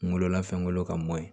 Kungolola fɛngolo ka mɔ